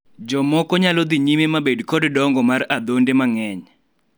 jomoko nyalo dhi nyime mabed kod dongo mar adhonde mang'eny